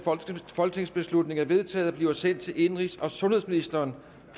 folketingsbeslutning er vedtaget og bliver sendt til indenrigs og sundhedsministeren